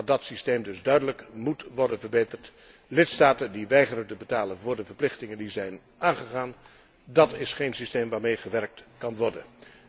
Dat systeem moet dus duidelijk worden verbeterd. Lidstaten die weigeren te betalen voor de verplichtingen die zijn aangegaan, dat is geen systeem waarmee gewerkt kan worden.